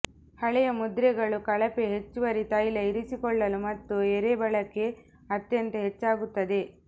ಹಳೆಯ ಮುದ್ರೆಗಳು ಕಳಪೆ ಹೆಚ್ಚುವರಿ ತೈಲ ಇರಿಸಿಕೊಳ್ಳಲು ಮತ್ತು ಎರೆ ಬಳಕೆ ಅತ್ಯಂತ ಹೆಚ್ಚಾಗುತ್ತದೆ